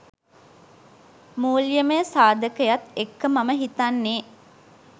මුල්‍යමය සාධකයත් එක්ක මම හිතන්නෙ.